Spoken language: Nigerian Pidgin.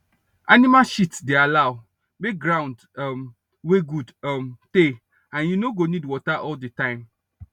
animal shit dey allow make ground um wey good um tey and you no go need water all the time